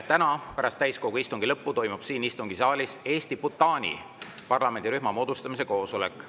Täna pärast täiskogu istungi lõppu toimub siin istungisaalis Eesti-Bhutani parlamendirühma moodustamise koosolek.